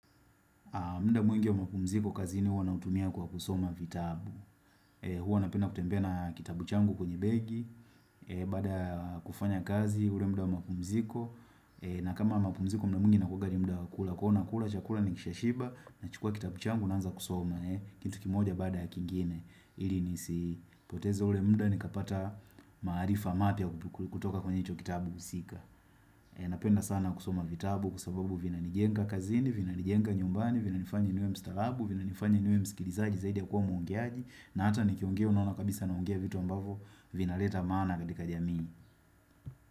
Muda mwingi wa mapumziko kazini huwa nautumia kwa kusoma vitabu. Huwa napenda kutembea na kitabu changu kwenye begi. Baada ya kufanya kazi, ule muda wa mapumziko. Na kama mapumziko, muda mwingi inakuaga ni muda kula kona kula, chakula nikishashiba, nachukua kitabu changu, naanza kusoma. Kitu kimoja baada ya kingine. Ili nisipoteze ule muda nikapata maarifa mapya kutoka kwenye hicho kitabu husika. Napenda sana kusoma vitabu kwa sababu vinanijenga kazini, vinanijenga nyumbani, vinanifanya niwe mstaarabu, vinanifanya niwe msikilizaji zaidi ya kuwa muongeaji na hata nikiongeo naona kabisa naongea vitu ambavyo vinaleta maana katika jamii.